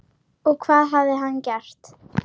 Og hvað hafði hann gert?